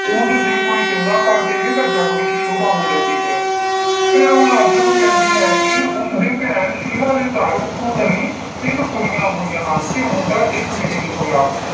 ਉੰਞ ਜੇ ਕੋਈ ਚੰਗਾ ਕਰ ਦੇਵੇ ਤਾਂ ਜੱਗ ਵਿੱਚ ਸੋਭਾ ਹੋ ਜਾਂਦੀ ਹੈ ਫਿਰ ਉਹ ਲਾਜੋ ਨੂੰ ਕਹਿੰਦੀ ਹੈ ਕਿ ਉਸਦੀ ਭੈਣ ਸੀਲਾ ਦੇ ਘਰ ਉੱਥੋਂ ਤਿੰਨ ਕੁੁੜੀਆਂ ਹੋਈਆਂ ਹਨ ਤੇ ਮੁੰਡਾ ਇੱਕ ਵੀ ਨਹੀਂ ਹੋਇਆ।